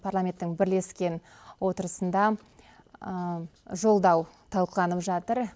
парламенттің бірлескен отырысында жолдау талқыланып жатыр